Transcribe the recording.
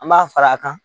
An b'a fara a kan